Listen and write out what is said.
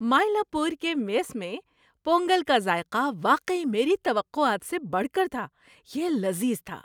مائیلاپور کے میس میں پونگل کا ذائقہ واقعی میری توقعات سے بڑھ کر تھا۔ یہ لذیذ تھا۔